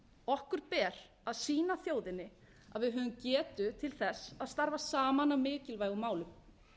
okkur ber að sýna þjóðinni að við höfum getu til þess að starfa saman að mikilvægum málum